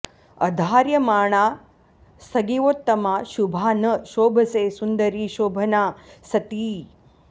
अधार्यमाणा स्नगिवोत्तमा शुभा न शोभसे सुन्दरि शोभना सती